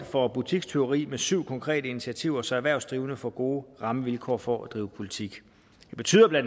for butikstyveri med syv konkrete initiativer så erhvervsdrivende får gode rammevilkår for at drive butik det betyder bla